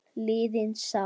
liðin sál.